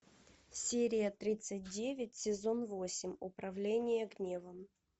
серия тридцать девять сезон восемь управление гневом